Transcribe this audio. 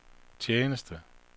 tjeneste